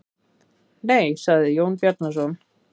Nei, sagði Jón Bjarnason.